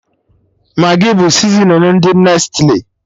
Magị bụ sizinin ndị Nestli